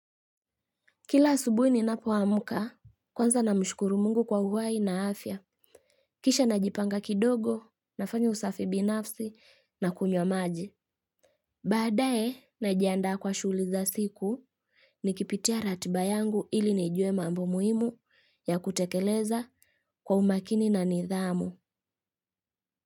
Kila asubuhi ninapoamka, kwanza namshukuru Mungu kwa uhai na afya. Kisha najipanga kidogo, nafanya usafi binafsi, nakunywa maji. Baadaye, najiandaa kwa shughuli za siku, nikipitia ratiba yangu ili nijue mambo muhimu ya kutekeleza kwa umakini na nidhamu.